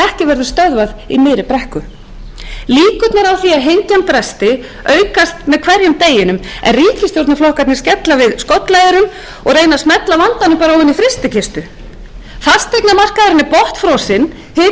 ekki verður stöðvað í miðri brekku líkurnar á því að hengjan bresti aukast með hverjum degi en ríkisstjórnarflokkarnir skella við skollaeyrum og reyna að smella vandanum bara ofan í frystikistu fasteignamarkaðurinn er botnfrosinn hitinn í atvinnulífinu